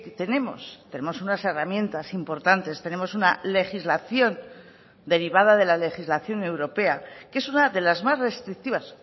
tenemos tenemos unas herramientas importantes tenemos una legislación derivada de la legislación europea que es una de las más restrictivas